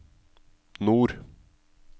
nord